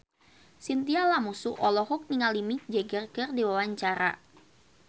Chintya Lamusu olohok ningali Mick Jagger keur diwawancara